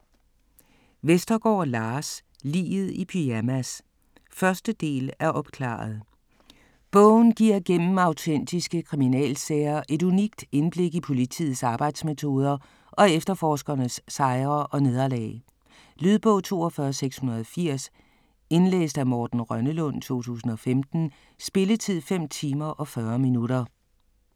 Vestergaard, Lars: Liget i pyjamas 1. del af Opklaret!. Bogen giver gennem autentiske kriminalsager et unikt indblik i politiets arbejdsmetoder og efterforskernes sejre og nederlag. Lydbog 42680 Indlæst af Morten Rønnelund, 2015. Spilletid: 5 timer, 40 minutter.